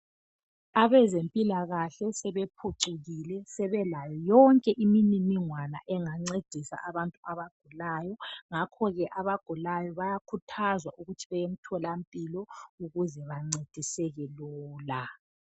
Abezempilakahle sebephucukile sebelayo yonke imininingwane engancedisa abantu abagulayo ngakho ke abagulayo bayakhuthazwa ukuthi beye emtholampilo ukuze bencediseke lula.